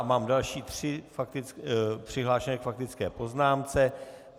A mám další tři přihlášené k faktické poznámce.